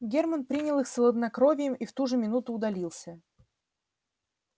германн принял их с хладнокровием и в ту же минуту удалился